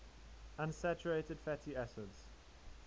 unsaturated fatty acids